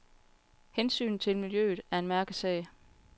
Hensynet til miljøet er en mærkesag.